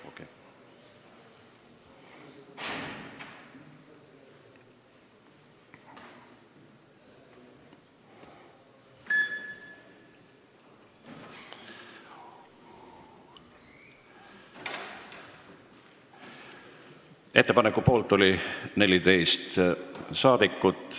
Hääletustulemused Ettepaneku poolt oli 14 rahvasaadikut.